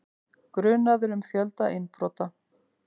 Grunaður um fjölda innbrota